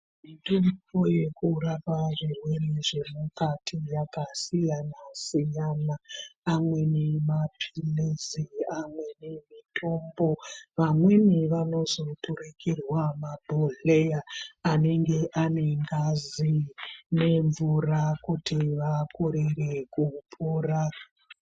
Mutombo yekurapa zvirwere zvemukati yakasiyana siyana amweni mapirisi amweni mutombo vamwni vanozoturukirwa mabhodhleya anenge ane ngazi nemvura kuti vakorera kupora.